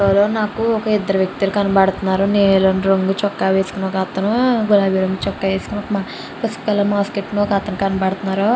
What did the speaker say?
ఎవరో నాకు ఇద్దరు వ్యక్తులు కనబడుతున్నారు నీలం రంగు చొక్కా వేసుకుని ఒకతను గులాబీ రంగు చొక్కా వేసుకుని పసుపు రంగు మాస్క్ వేసుకుని ఒకతను కనబడుతునారు.